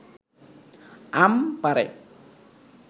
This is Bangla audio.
আম পাড়ে